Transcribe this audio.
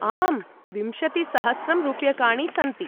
आम्, विंशतिसहस्रं रूप्यकाणि सन्ति।